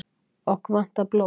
Okkur vantar blóð